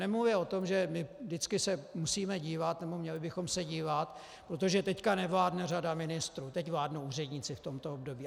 Nemluvě o tom, že my vždycky se musíme dívat, nebo měli bychom se dívat - protože teď nevládne řada ministrů, teď vládnou úředníci v tomto období.